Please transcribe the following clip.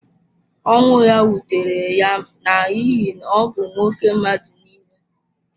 Ọnwụ ya wutere ya n’ihi na ọ bụ nwoke mmadụ nile.